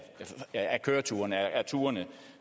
af køreturene